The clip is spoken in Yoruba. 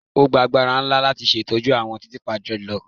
O gba agbara nla lati ṣetọju awọn titiipa dreadlocks